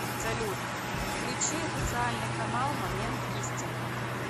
салют включи официальный канал момент истины